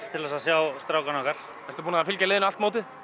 til að sjá strákana okkar ertu búinn að fylgja liðinu allt mótið